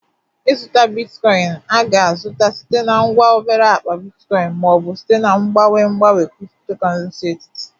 Ịzụta bitcoin a ga-azụta site na ngwa obere akpa bitcoin ma ọ bụ site na mgbanwe mgbanwe cryptocurrency etiti